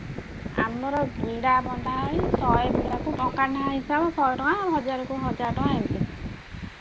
ଆମର ବିଡା ବନ୍ଧା ହଇ ଶହେ ବିଡାକୁ ଟଙ୍କାଏ ଲେଖା ହିସାବ ଶହେ ଟଙ୍କା ହଜାର କୁ ହଜାର ଟଙ୍କା ଏମିତି।